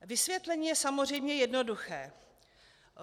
Vysvětlení je samozřejmě jednoduché.